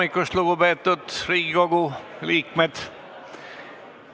Tere hommikust, lugupeetud Riigikogu liikmed!